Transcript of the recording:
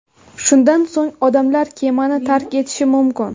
Shundan so‘ng odamlar kemani tark etishi mumkin.